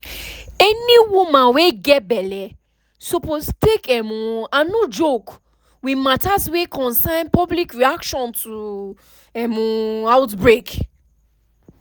any woman wey get belle suppose take um and no joke with matters wey concern public reaction to um outbreak